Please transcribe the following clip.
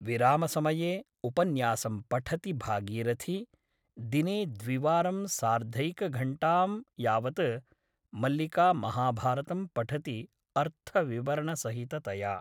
विरामसमये उपन्यासं पठति भागीरथी । दिने द्विवारं सार्थैकघण्टां यावत् मल्लिका महाभारतं पठति अर्थविवरणसहिततया ।